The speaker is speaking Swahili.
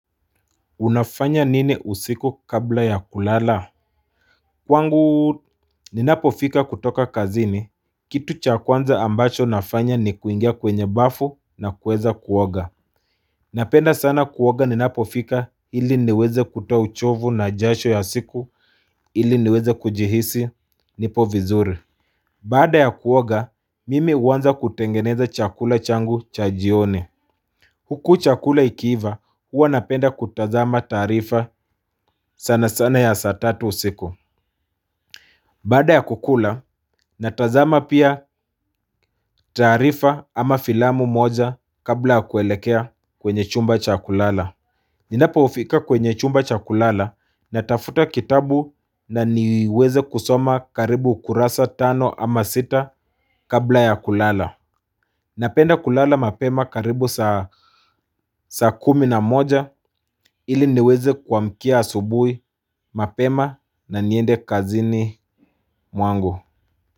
Unafanya nini usiku kabla ya kulala. Kwangu ni napofika kutoka kazini. Kitu cha kwanza ambacho nafanya ni kuingia kwenye bafu na kuweza kuoga. Napenda sana kuoga ni napofika ili niweze kutoa uchovu na jasho ya siku ili niweze kujihisi nipo vizuri baada ya kuoga mimi huanza kutengeneza chakula changu cha jioni. Huku chakula ikiiva huwa napenda kutazama taarifa sana sana ya saa tatu usiku. Baada ya kukula natazama pia taarifa ama filamu moja kabla kuelekea kwenye chumba cha kulala. Ninapofika kwenye chumba cha kulala natafuta kitabu na niweze kusoma karibu kurasa tano ama sita kabla ya kulala. Napenda kulala mapema karibu saa kumi na moja ili niweze kuamkia asubuhi mapema na niende kazini mwangu.